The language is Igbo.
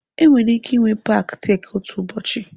Enwere ike ịnwe paaki Tek otu ụbọchị.